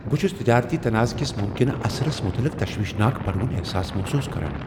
بہٕ چھس تجٲرتی تنازعہ کس ممکنہٕ اثرس متعلق تشویشناک بڑوُن احساس محسوس کران۔